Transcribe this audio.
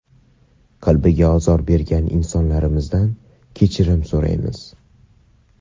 Qalbiga ozor bergan insonlarimizdan kechirim so‘raymiz.